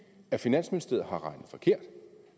finansministeriet har regnet forkert